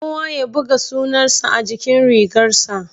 Kowa ya buga sunan sa a jikin rigar sa